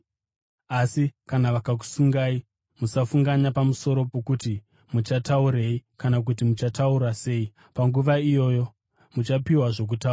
Asi kana vakusungai, musafunganya pamusoro pokuti muchataurei kana kuti muchataura sei. Panguva iyoyo muchapiwa zvokutaura,